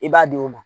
I b'a di o ma